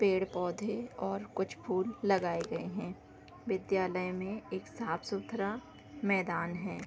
पेड़ पौधे और कुछ फूल लगाए गए हैं विद्यालय में एक साफ-सुथरा मैदान है |